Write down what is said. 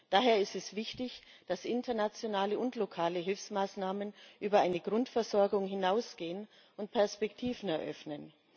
Daher ist es wichtig, dass internationale und lokale Hilfsmaßnahmen über eine Grundversorgung hinausgehen und Perspektiven eröffnen.